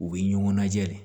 U bɛ ɲɔgɔn lajɛ de